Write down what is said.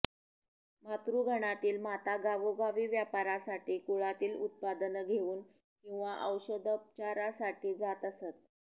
मातृगणातील माता गावोगावी व्यापारासाठी कुळातील उत्पादनं घेऊन किंवा औषधोपचारासाठी जात असत